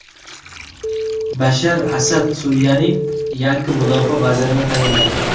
Bashar Asad Suriyaning yangi mudofaa vazirini tayinladi.